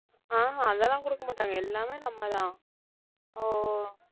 ஆஹ் ஹம் அதெல்லாம் குடுக்க மாட்டாங்க எல்லாமே நம்மதான்